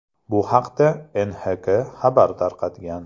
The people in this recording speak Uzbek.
Bu haqda NHK xabar tarqatgan .